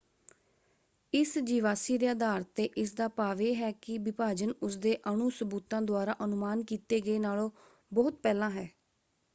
"ਇਸ ਜੀਵਾਸੀ ਦੇ ਅਧਾਰ ਤੇ ਇਸਦਾ ਭਾਵ ਇਹ ਹੈ ਕਿ ਵਿਭਾਜਨ ਉਸਦੇ ਅਣੂ ਸਬੂਤਾਂ ਦੁਆਰਾ ਅਨੁਮਾਨ ਕੀਤੇ ਗਏ ਨਾਲੋਂ ਬਹੁਤ ਪਹਿਲਾਂ ਹੈ